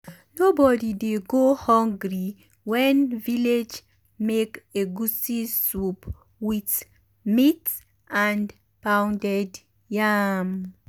nobody dey go hungry wen village make egusi soup with meat and pounded yam.